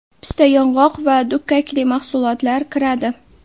pista-yong‘oq va dukkakli mahsulotlar kiradi.